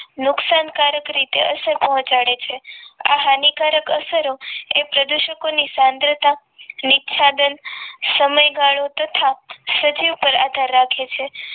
નુકસાનકારક રીતે અસર પહોંચાડે છે આ હાનિકારક અસરો એ પ્રદુષકોની સાંદ્રતા નિખ્યાદન સમયગાળો તથા સજીવ ઉપર આધાર રાખે છે